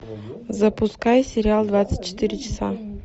запускай сериал двадцать четыре часа